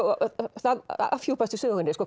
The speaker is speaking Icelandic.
það afhjúpast í sögunni